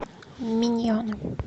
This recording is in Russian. миньоны